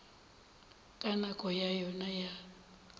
ka nako ya yona ya